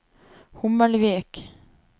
Hommelvik